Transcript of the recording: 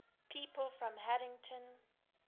people from haddington